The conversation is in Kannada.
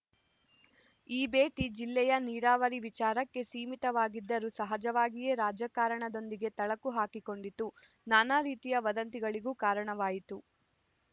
ಈ ಭೇಟಿ ಜಿಲ್ಲೆಯ ನೀರಾವರಿ ವಿಚಾರಕ್ಕೆ ಸೀಮಿತವಾಗಿದ್ದರೂ ಸಹಜವಾಗಿಯೇ ರಾಜಕಾರಣದೊಂದಿಗೆ ಥಳಕು ಹಾಕಿಕೊಂಡಿತು ನಾನಾ ರೀತಿಯ ವದಂತಿಗಳಿಗೂ ಕಾರಣವಾಯಿತು